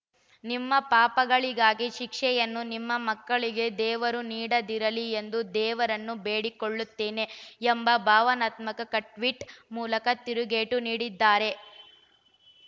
ನಿಮ್ಮ ಪಾಪಗಳಿಗಾಗಿ ಶಿಕ್ಷೆಯನ್ನು ನಿಮ್ಮ ಮಕ್ಕಳಿಗೆ ದೇವರು ನೀಡದಿರಲಿ ಎಂದು ದೇವರನ್ನು ಬೇಡಿಕೊಳ್ಳುತ್ತೇನೆ ಎಂಬ ಭಾವನಾನ್ಮಕ ಕಟ್ ಟ್ವೀಟ್‌ ಮೂಲಕ ತಿರುಗೇಟು ನೀಡಿದ್ದಾರೆ